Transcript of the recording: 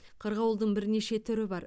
қырғауылдың бірнеше түрі бар